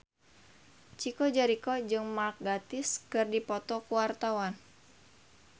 Chico Jericho jeung Mark Gatiss keur dipoto ku wartawan